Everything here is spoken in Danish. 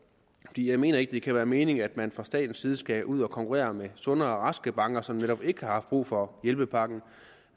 jeg mener ikke det kan være meningen at man fra statens side skal ud at konkurrere med sunde og raske banker som netop ikke har haft brug for hjælpepakken